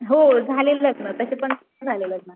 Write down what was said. हो झाले लग्न तशेपण झाले लग्न.